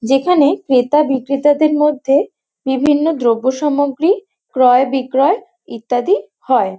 যেখানে ক্রেতা বিক্রেতাদের মধ্যে বিভিন্ন দ্রব্য সামগ্রী ক্রয় বিক্রয় ইত্যাদি হয়।